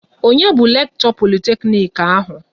Onye bu Lekto Politeknic ahụ?